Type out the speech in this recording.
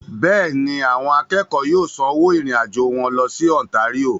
Bẹ́ẹ̀ni, àwọn akẹ́kọ̀ọ́ yóò sanwó ìrìn-àjò wọn lọ sí Ontario.